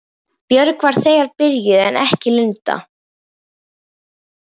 Björg var þegar byrjuð en ekki Linda.